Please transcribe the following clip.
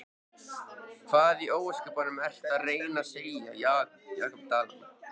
Hvað í ósköpunum ertu að reyna að segja, Jakob Dalmann?